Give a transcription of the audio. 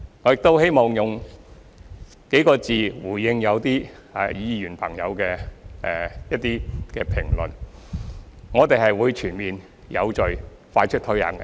我亦希望以幾個字回應一些議員朋友的評論：我們會全面、有序、快速推行。